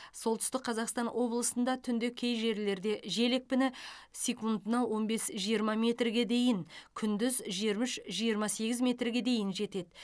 солтүстік қазақстан облысында түнде кей жерлерде жел екпіні секундына он бес жиырма метрге дейін күндіз жиырма үш жиырма сегіз метрге дейін жетеді